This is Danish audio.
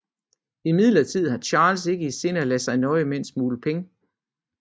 Imidlertid har Charles ikke i sinde at lade sig nøje med en smule penge